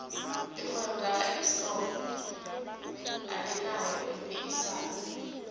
irhwebo laka eskom alinaye umphikisani